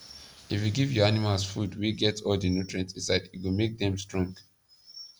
if u give ur animals food wa get all the nutrient inside e go make them stronge